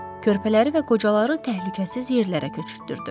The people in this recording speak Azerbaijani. Körpələri və qocaları təhlükəsiz yerlərə köçürtdürdü.